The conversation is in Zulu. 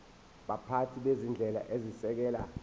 baphathi bezinhlelo ezisekela